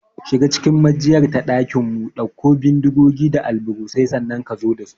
Shiga cikin maijiyar ta ɗakinmu, ɗauko bindigogi da alburusai, sannan ka zo da su!